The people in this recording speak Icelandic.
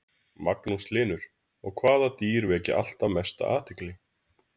Magnús Hlynur: Og hvaða dýr vekja alltaf mestu athygli?